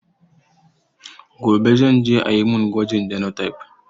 Gobe zan je ayi mun gwajin genotype